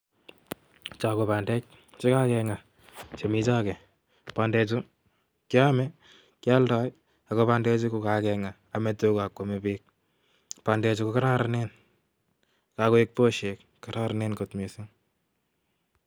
Cho ko bandek che kekeng'a chemi choge. Bande chu keame, kealdoi ago bandechu kakeng'a ame tuga ak kwame biik. Bandechu ko koraranen kagoek poshek koraranen kot missing.